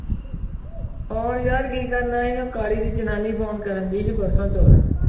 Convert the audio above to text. Phone ਯਾਰ ਕੀ ਕਰਨਾ ਸੀ ਉਹ ਕਾਲੇ ਦੀ ਜਨਾਨੀ ਫ਼ੋਨ ਕਰਨਡੀ ਸੀ ਪਰਸੋਂ ਚੋਥੇ।